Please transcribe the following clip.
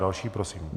Další prosím.